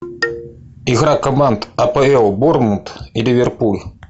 игра команд апл борнмут и ливерпуль